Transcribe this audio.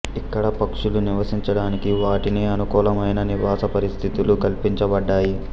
ఇక్కడ పక్షులు నివసించడానికి వాటికి అనుకూలమైన నివాస పరిస్థితులు కల్పించబడ్డాయి